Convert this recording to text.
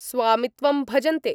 स्वामित्वं भजन्ते।